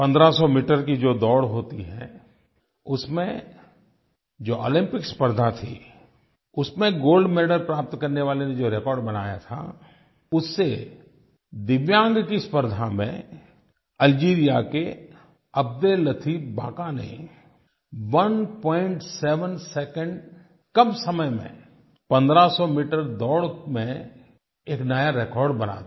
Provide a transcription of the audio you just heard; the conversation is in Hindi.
1500 मीटर की जो दौड़ होती है उसमें जो ओलम्पिक्स स्पर्द्धा थी उसमें गोल्ड मेडल प्राप्त करने वाले ने जो रेकॉर्ड बनाया था उससे दिव्यांग की स्पर्द्धा में अल्जीरिया के अब्देल्लतीफ बाका ने 17 सेकंड कम समय में 1500 मीटर दौड़ में एक नया रेकॉर्ड बना दिया